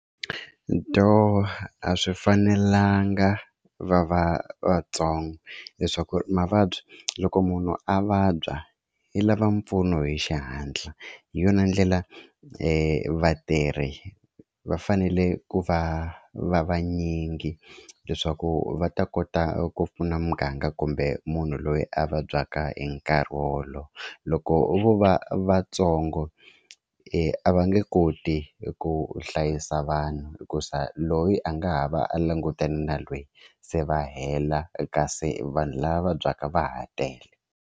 Doh a swi fanelanga va va vatsongo leswaku ri mavabyi loko munhu a vabya i lava mpfuno hi xihatla hi yona ndlela vatirhi va fanele ku va va vanyingi leswaku va ta kota ku pfuna muganga kumbe munhu loyi a vabyaka hi nkarhi wolowo loko vo va vatsongo a va nge koti ku hlayisa vanhu hikuza loyi a nga ha va a langutane na lweyi se va hela kasi vanhu lava vabyaka va ha tele.